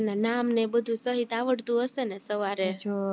તમને એના નામ ને બધું સહીત આવડતું હશે ને સવારે